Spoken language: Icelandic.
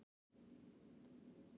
Hver eru helstu málin?